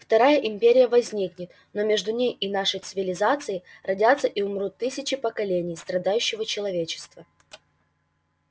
вторая империя возникнет но между ней и нашей цивилизацией родятся и умрут тысячи поколений страдающего человечества